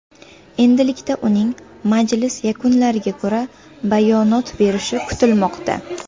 Endilikda uning majlis yakunlariga ko‘ra bayonot berishi kutilmoqda.